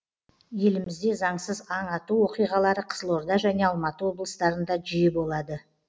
елімізде заңсыз аң ату оқиғалары қызылорда және алматы облыстарында жиі болады